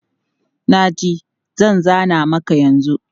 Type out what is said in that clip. Na ji, zan zana maka yanzu.